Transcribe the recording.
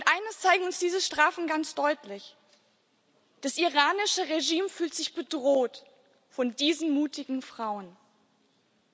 Eines zeigen uns diese Strafen ganz deutlich Das iranische Regime fühlt sich von diesen mutigen Frauen bedroht.